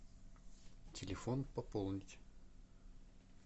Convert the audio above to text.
телефон пополнить